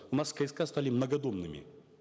у нас кск стали многодомными